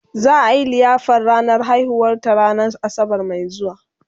za'a Yi liyafar ranar haihuwar ta ranan asabar Mai zuwa